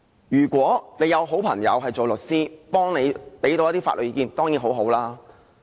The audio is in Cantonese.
如果你有好朋友做律師能夠提供法律意見當然很好。